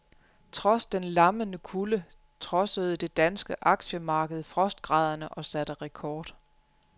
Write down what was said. Trods den lammende kulde trodsede det danske aktiemarked frostgraderne og satte rekord.